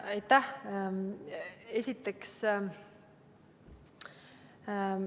Aitäh!